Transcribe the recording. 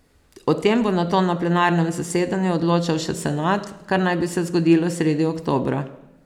O tem bo nato na plenarnem zasedanju odločal še senat, kar naj bi se zgodilo sredi oktobra.